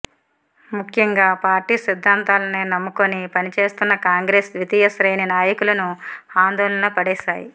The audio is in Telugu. ముఖ్యంగా పార్టీ సిద్ధాంతాలనే నమ్ముకుని పని చేస్తోన్న కాంగ్రెస్ ద్వితీయ శ్రేణి నాయకులను ఆందోళనలో పడేశాయి